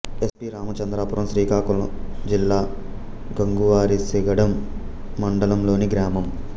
yes P Ramachandrapuram Srikakulam జిల్లా గంగువారిసిగడాం మండలం లోని గ్రామం